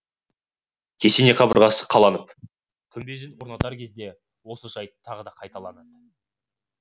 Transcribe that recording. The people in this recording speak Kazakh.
кесене қабырғасы қаланып күмбезін орнатар кезде осы жайт тағы қайталанды